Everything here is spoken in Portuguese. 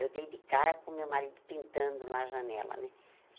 Eu dei de cara com meu marido pintando lá a janela, né?